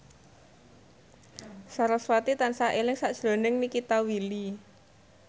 sarasvati tansah eling sakjroning Nikita Willy